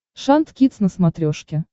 шант кидс на смотрешке